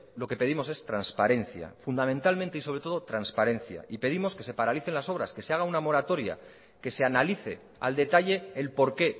lo que pedimos es transparencia fundamentalmente y sobre todo transparencia y pedimos que se paralicen las obras que se haga una moratoria que se analice al detalle el por qué